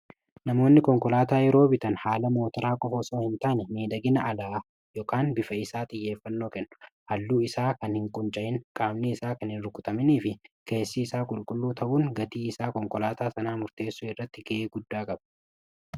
namoonni konkolaataa yeroo bitan haala mootaraa qofa soo hin taane miidhagina alaa bifa isaaf xiyyeeffannoo kennu. halluu isaa kan hin qunca'in qaamnii isaa kan hin rukutaminii fi keessii isaa qulqulluu ta'uun gatii isaa konkolaataa sanaa murteessuu irratti ga'ee guddaa qabu.